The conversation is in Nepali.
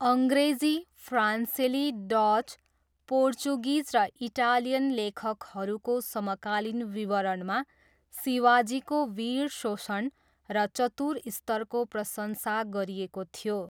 अङ्ग्रेजी, फ्रान्सेली, डच, पोर्चुगिज र इटालियन लेखकहरूको समकालीन विवरणमा शिवाजीको वीर शोषण र चतुर स्तरको प्रशंसा गरिएको थियो।